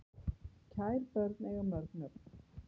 Kær börn eiga mörg nöfn